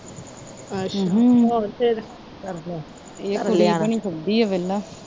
ਅੱਛਾ ਹੋਰ ਫਿਰ